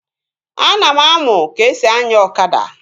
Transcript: Ana m anụ ka-esi anya ọkada